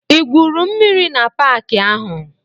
I gwuru mmiri na paki ahụ?